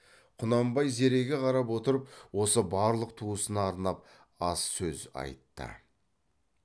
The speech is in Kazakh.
құнанбай зереге қарап отырып осы барлық туысына арнап аз сөз айтты